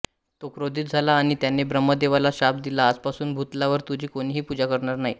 तो क्रोधित झाला आणि त्याने ब्रह्मदेवाला शाप दिला आजपासून भूतलावर तुझी कोणीही पूजा करणार नाही